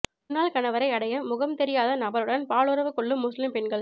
முன்னாள் கணவரை அடைய முகம் தெரியாத நபருடன் பாலுறவு கொள்ளும் முஸ்லிம் பெண்கள்